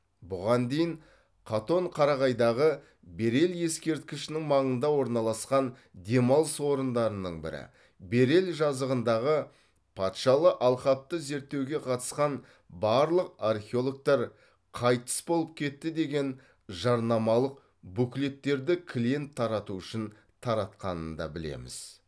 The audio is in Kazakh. бұған дейін қатон қарағайдағы берел ескерткішінің маңында орналасқан демалыс орындарының бірі берел жазығындағы патшалы алқапты зерттеуге қатысқан барлық археологтар қайтыс болып кетті деген жарнамалық буклеттерді клиент тарату үшін таратқанын да білеміз